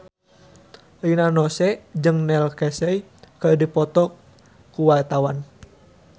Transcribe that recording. Rina Nose jeung Neil Casey keur dipoto ku wartawan